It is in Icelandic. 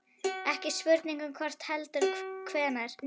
Ekki spurning um hvort heldur hvenær.